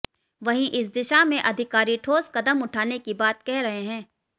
वहीं इस दिशा में अधिकारी ठोस कदम उठाने की बात कह रहे हैं